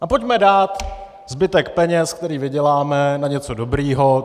A pojďme dát zbytek peněz, které vyděláme, na něco dobrého.